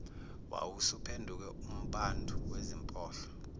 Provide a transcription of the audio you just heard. wawusuphenduke umphandu wezimpohlo